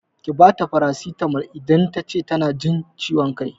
Ki bata farasitamol idan tace tana jin ciwon kai!